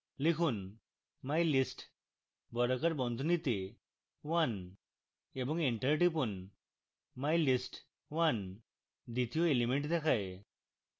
লিখুন mylist বর্গাকার বন্ধনীতে এ one এবং enter টিপুন